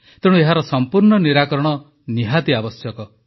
ତେଣୁ ଏହାର ସମ୍ପୂର୍ଣ୍ଣ ନିରାକରଣ ନିହାତି ଆବଶ୍ୟକ